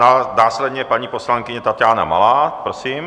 Následně paní poslankyně Taťána Malá, prosím.